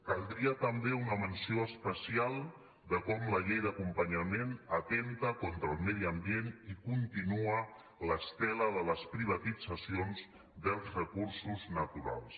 caldria també una menció especial de com la llei d’acompanyament atempta contra el medi ambient i continua l’estela de les privatitzacions dels recursos naturals